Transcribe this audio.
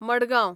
Madgaon